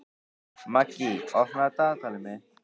Maggý, opnaðu dagatalið mitt.